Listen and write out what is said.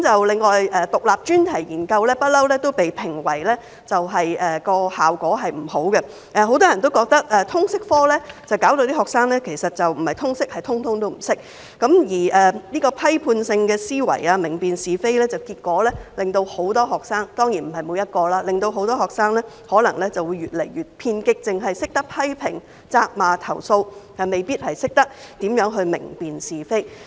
另外，獨立專題研究一直被批評為效果不佳，很多人認為通識科令學生"不是通識，而是通通都不識"，而批判性的思維、明辨是非方面，結果令很多學生——當然不是每一位——可能越來越偏激，只懂得批評、責罵和投訴，未必懂得如何明辨是非。